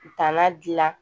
Danna dilan